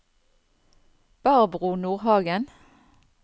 Barbro Nordhagen